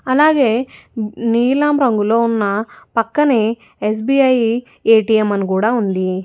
అలాగే నీలం రంగులో ఉన్న పక్కనే ఎస్_బి_ఐ ఎ_టి_ఎం అని కూడా ఉంది.